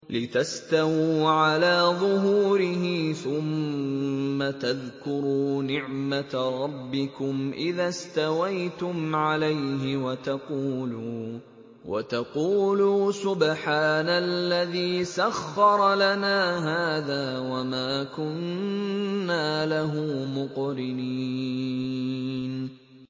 لِتَسْتَوُوا عَلَىٰ ظُهُورِهِ ثُمَّ تَذْكُرُوا نِعْمَةَ رَبِّكُمْ إِذَا اسْتَوَيْتُمْ عَلَيْهِ وَتَقُولُوا سُبْحَانَ الَّذِي سَخَّرَ لَنَا هَٰذَا وَمَا كُنَّا لَهُ مُقْرِنِينَ